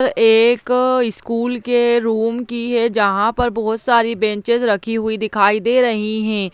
अ एक स्कुल की रुम की है जहाँ पर बहुत सारी बेंचेज रखी हुई दिखाई दे रही है।